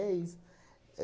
É isso.